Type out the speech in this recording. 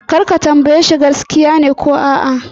Kar ka tambaye shi shin gaskiya ne ko a'a!